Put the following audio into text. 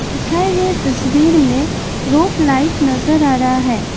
दिखाये गए तस्वीर में रोप लाइट नजर आ रहा है।